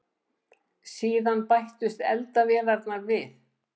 Síðan bættust eldavélarnar við.